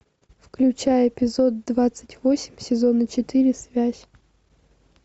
включай эпизод двадцать восемь сезона четыре связь